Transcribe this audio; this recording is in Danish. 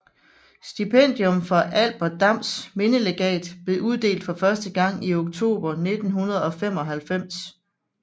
Stipendium fra Albert Dams mindelegat blev uddelt for første gang i oktober 1995